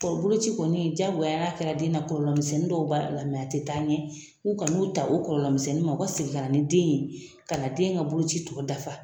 Boloci kɔni diyagoya n'a kɛra den na kɔlɔlɔ misɛnnin dɔw b'a la a tɛ taa ɲɛ u kana n'u ta o kɔlɔlɔɔmisɛnnin ma u ka segin ka na ni den ye ka na den ka boloci tɔ dafa